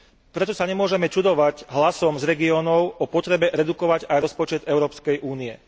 Preto sa nemôžeme čudovať hlasom z regiónov o potrebe redukovať aj rozpočet Európskej únie.